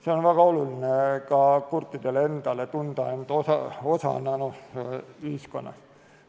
See on väga oluline ka kurtidele endale – tunda end osana ühiskonnast.